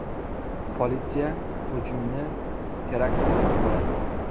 Politsiya hujumni terakt deb baholadi .